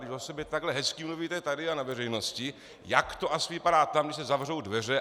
Když o sobě takhle hezky mluvíte tady a na veřejnosti, jak to asi vypadá tam, když se zavřou dveře.